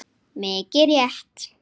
Mikið rétt!